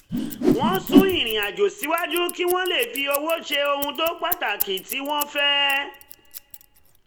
wọ́n sún irinàjò síwájú kí wọ́n lè fi owó ṣe ohun pàtàkì tí wọ́n fẹ́